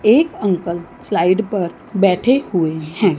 एक uncle slide पर बैठे हुए हैं।